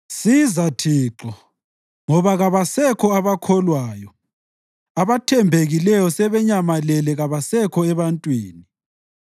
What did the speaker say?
Siza Thixo, ngoba kabasekho abakholwayo; abathembekileyo sebenyamalele kabasekho ebantwini.